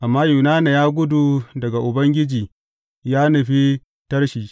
Amma Yunana ya gudu daga Ubangiji ya nufi Tarshish.